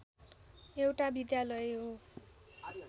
एउटा विद्यालय हो